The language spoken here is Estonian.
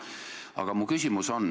Aga minu küsimus.